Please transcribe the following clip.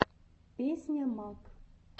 песня мак